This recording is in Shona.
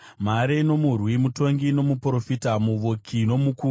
mhare nomurwi, mutongi nomuprofita, muvuki nomukuru,